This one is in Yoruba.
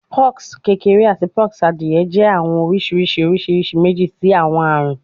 Pox kekere ati pox adie jẹ awọn oriṣiriṣi oriṣiriṣi meji ti awọn arun